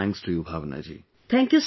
Many many thanks to you Bhavana ji